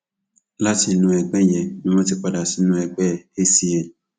láti inú ẹgbẹ yẹn ni wọn ti padà sínú ẹgbẹ acn